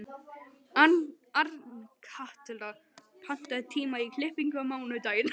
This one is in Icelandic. Arnkatla, pantaðu tíma í klippingu á mánudaginn.